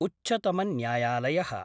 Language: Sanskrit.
उच्चतमन्यायालय: